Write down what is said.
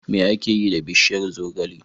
Me ake yi da bishiyar zogale?